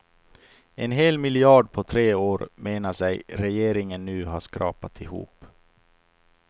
En hel miljard på tre år menar sig regeringen nu ha skrapat ihop.